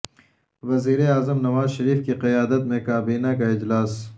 وزیراعظم نواز شریف کی قیادت میں کابینہ کا اجلاس